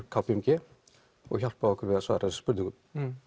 k p m g og hjálpuðu okkur við að svara þessum spurningum